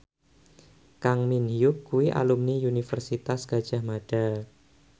Kang Min Hyuk kuwi alumni Universitas Gadjah Mada